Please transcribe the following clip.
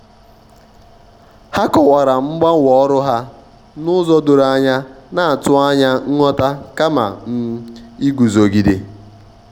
um ha kọwara mgbanwe ọrụ ha n'ụzọ doro anyana-atụ anya nghọta kama um iguzogide.